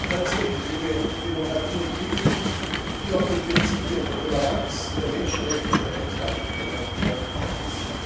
auch tatsächlich junge Demokratien entwickeln, die auf den Prinzipien der Toleranz, der Menschenrechte und der Rechtsstaatlichkeit aufgebaut sind.